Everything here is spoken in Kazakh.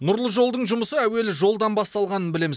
нұрлы жолдың жұмысы әуелі жолдан басталғанын білеміз